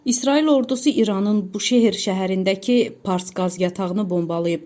İsrail ordusu İranın Buşəhr şəhərindəki Pars qaz yatağını bombalayıb.